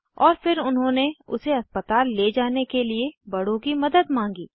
और फिर उन्होंने उसे अस्पताल ले जाने के लिए बड़ों की मदद मांगी